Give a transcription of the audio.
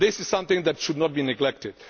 This is something that should not be neglected.